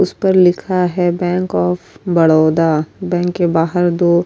اس پر لکھا ہے بینک وف بڑودہ بینک کے بہار دو --